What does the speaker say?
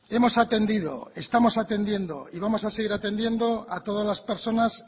hemos atendido estamos atendiendo y vamos a seguir atendiendo a todas las personas